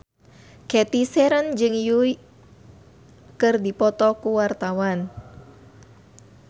Cathy Sharon jeung Yui keur dipoto ku wartawan